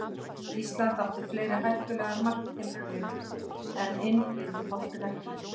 Ísland átti fleiri hættulegar marktilraunir en inn vildi boltinn ekki.